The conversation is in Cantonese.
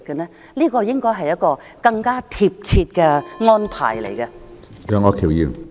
這方面應該有更貼切的安排。